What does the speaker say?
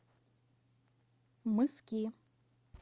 мыски